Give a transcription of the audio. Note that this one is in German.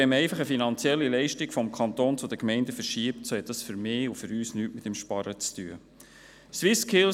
Wenn man aber einfach eine Leistung vom Kanton zu den Gemeinden verschiebt, hat das für uns nichts mit sparen zu tun.